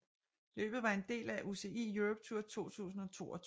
Løbet var en del af UCI Europe Tour 2022